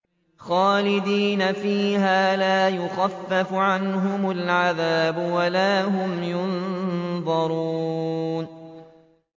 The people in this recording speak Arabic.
خَالِدِينَ فِيهَا ۖ لَا يُخَفَّفُ عَنْهُمُ الْعَذَابُ وَلَا هُمْ يُنظَرُونَ